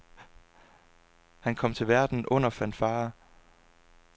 Han kom til verden under fanfarer.